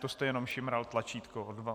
To jste jenom šimral tlačítko.